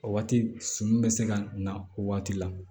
O waati sumu bɛ se ka na o waati la